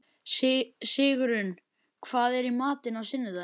Höfum aldrei áður borðað saman mat sem aðrir hafa lagað.